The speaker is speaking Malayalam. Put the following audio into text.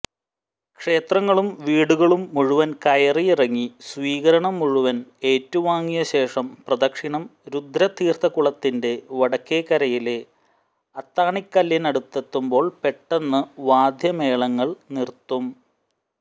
ക്ഷേത്രങ്ങളും വീടുകളും മുഴുവൻ കയറിയിറങ്ങി സ്വീകരണം മുഴുവൻ ഏറ്റുവാങ്ങിയശേഷം പ്രദക്ഷിണം രുദ്രതീർത്ഥക്കുളത്തിന്റെ വടക്കേക്കരയിലെ അത്താണിക്കല്ലിനടുത്തെത്തുമ്പോൾ പെട്ടെന്ന് വാദ്യമേളങ്ങൾ നിർത്തും